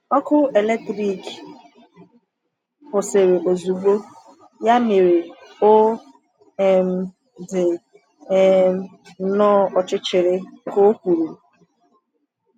“Ọkụ eletrik kwụsịrị ozugbo, ya mere ọ um dị um nnọọ ọchịchịrị,” ka o kwuru.